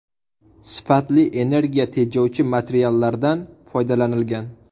Sifatli, energiya tejovchi materiallardan foydalanilgan.